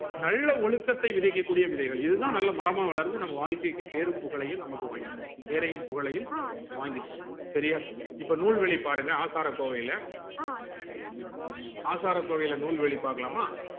நல்ல ஒழுக்கத்தை விதைக்க கூடிய விதைகள் இதுதான் நல்ல மரமா வளர்ந்து நம்ம வாழ்க்கைக்கு பேரும்புகழும் நமக்கு வாங்கி தருது பெரையும் புகழையும் வாங்கி தருது செரியா இந்த நூல்கள பாருங்க ஆசாரகோவைல பாருங்க ஆசாரகோவைல நூல்வழி பாக்கலாமா